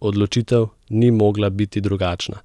Odločitev ni mogla biti drugačna,